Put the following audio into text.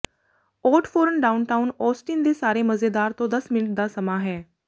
out ਫੋਰਨ downtown Austin ਦੇ ਸਾਰੇ ਮਜ਼ੇਦਾਰ ਤੋਂ ਦਸ ਮਿੰਟ ਦਾ ਸਮਾਂ ਹੈ